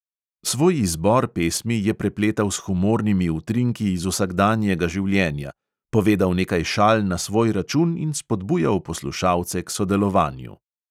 Svoj izbor pesmi je prepletal s humornimi utrinki iz vsakdanjega življenja, povedal nekaj šal na svoj račun in spodbujal poslušalce k sodelovanju.